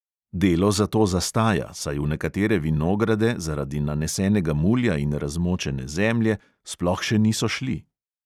Delo zato zastaja, saj v nekatere vinograde zaradi nanesenega mulja in razmočene zemlje sploh še niso šli ...